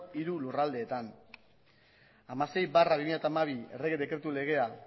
hiru lurraldeetan hamasei barra bi mila hamabi errege dekretu legea